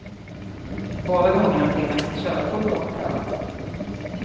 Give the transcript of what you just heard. Båda gångerna fick han sitt körkort återkallat.